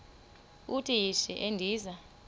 uthi yishi endiza